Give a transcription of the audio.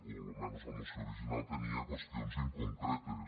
o almenys la moció original tenia qüestions inconcretes